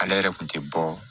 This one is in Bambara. Ale yɛrɛ kun tɛ bɔ